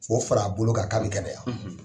K'o far'a bolo kan ka kɛnɛya